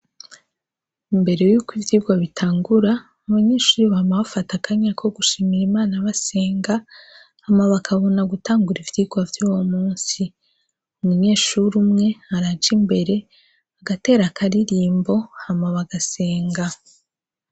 Imbere y' uko ivyirwa bitangura, abanyeshuri bama bafata akanya ko gushimira Imana basenga, hama bakabona gutangura ivyirwa vy' uwo munzi. Umunyeshuri umwe, araja imbere, agatera akaririmbo, hanyuma bagasenga.